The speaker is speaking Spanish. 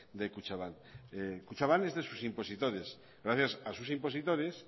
de kutxabank kutxabank es de sus impositores gracias a sus impositores